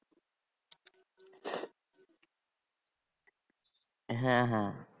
হ্যাঁ হ্যাঁ